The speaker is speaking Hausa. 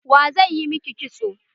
Wa zai yi miki kitso?